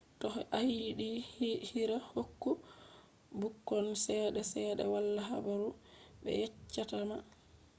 toh ayidi hira hokku bukkon chede sedda wala habaru be yecchatama